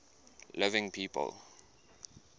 living people